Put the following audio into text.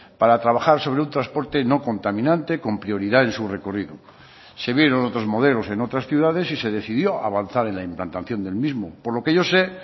para trabajar sobre un transporte no contaminante con prioridad en su recorrido se vieron otros modelos en otras ciudades y se decidió avanzar en la implantación del mismo por lo que yo sé